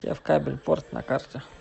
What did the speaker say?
севкабель порт на карте